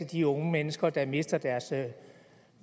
de unge mennesker der mister deres